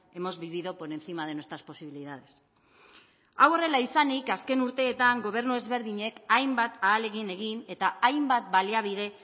hemos vivido por encima de nuestras posibilidades hau horrela izanik azken urteetan gobernu ezberdinek hainbat ahalegin egin eta hainbat baliabide